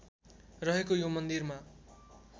रहेको यो मन्दिरमा